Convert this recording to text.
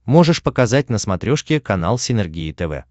можешь показать на смотрешке канал синергия тв